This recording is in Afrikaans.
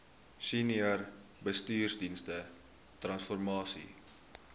senior bestuursdienste transformasie